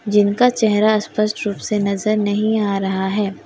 जिनका चेहरा स्पष्ट रूप से नजर नहीं आ रहा है।